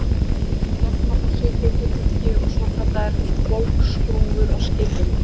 Þær gegna þá svipuðu hlutverki og svokallaðar bógskrúfur á skipum.